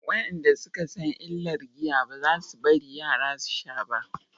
wayanda suka san illar giya ba za su bari yara su sha ba